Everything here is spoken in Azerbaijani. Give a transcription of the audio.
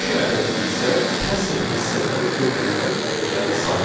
İki ədədi isə kəsr hissədən götürülən ədədlərin sayıdır.